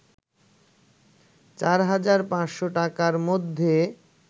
৪হাজার ৫শ’ টাকার মধ্যে